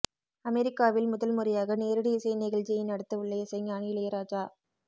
அமெரிக்காவில் முதல் முறையாக நேரடி இசை நிகழ்ச்சியை நடத்தவுள்ள இசைஞானி இளையராஜா